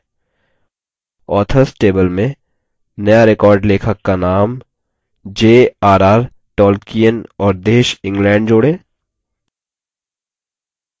3 authors table में नया record लेखक का name j r r tolkien और देश england जोड़ें